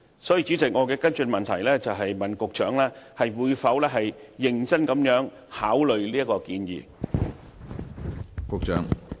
所以，主席，我的補充質詢是：局長會否認真考慮這項建議？